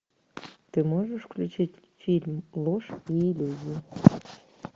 ты можешь включить фильм ложь и иллюзии